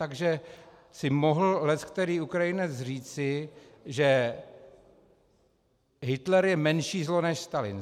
Takže si mohl leckterý Ukrajinec říci, že Hitler je menší zlo než Stalin.